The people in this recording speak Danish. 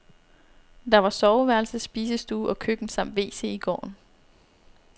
Der var soveværelse, spisestue og køkken samt wc i gården.